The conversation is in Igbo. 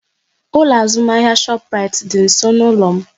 Ụlọ azụmahịa Shoprite dị nsọ n'ụlọ m